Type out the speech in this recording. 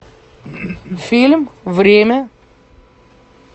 фильм время